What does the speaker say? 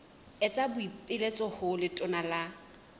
etsa boipiletso ho letona la